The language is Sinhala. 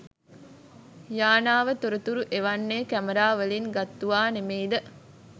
යානාව තොරතුරු එවන්නෙ කැමරාවලින් ගත්තුවා නෙමෙයිද?